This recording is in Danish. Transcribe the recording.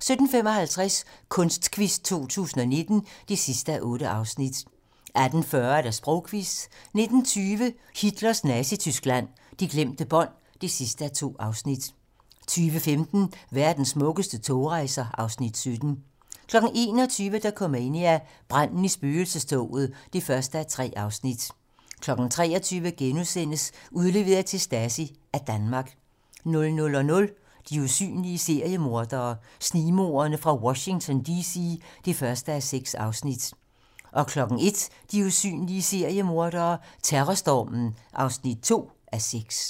17:55: Kunstquiz 2019 (8:8) 18:40: Sprogquizzen 19:20: Hitlers Nazityskland: De glemte bånd (2:2) 20:15: Verdens smukkeste togrejser (Afs. 17) 21:00: Dokumania: Branden i spøgelsestoget (1:3) 23:00: Udleveret til Stasi af Danmark * 00:00: De usynlige seriemordere: Snigmorderne fra Washington D.C. (1:6) 01:00: De usynlige seriemordere: Terrorstormen (2:6)